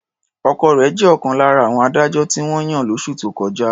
Ọkọ rẹ̀ jẹ́ ọ̀kan lára àwọn adájọ́ tí wọ́n yàn lóṣù tó kọjá.